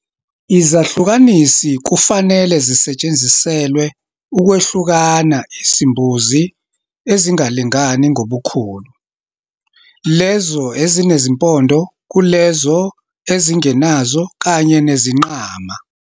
Izahlukanisi kufanele zisetshenziselwe ukwehlukana izimbuzi ezingalingani ngobukhulu, lezo ezinezimpondo kulezo ezingenazo kanye nezingqgama.